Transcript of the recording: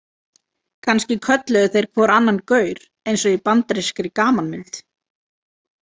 Kannski kölluðu þeir hvor annan gaur, eins og í bandarískri gamanmynd.